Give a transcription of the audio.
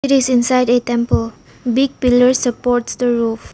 This inside a temple big pillar supports the roof.